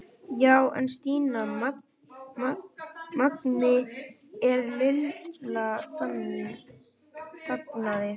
Já en Stína, Mangi er. Lilla þagnaði.